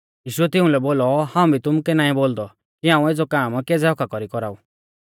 यीशुऐ तिउंलै बोलौ हाऊं भी तुमुकै नाईं बोलदौ कि हाऊं एज़ौ काम केज़ै हक्क्का कौरीऐ कौराऊ